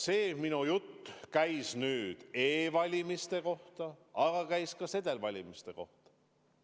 See minu jutt käis nüüd e-valimiste kohta, aga käis ka sedelvalimiste kohta.